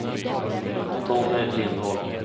Tommy Lindholm